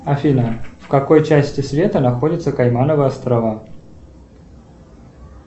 афина в какой части света находятся каймановы острова